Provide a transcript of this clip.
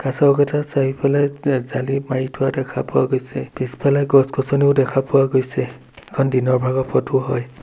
চৌকাঠত চাৰিওফালে জা জালি মাৰি থোৱা দেখা পোৱা গৈছে পিছফালে গছ গছনিও দেখা পোৱা গৈছে এইখন দিনৰ ভাগৰ ফটো হয়।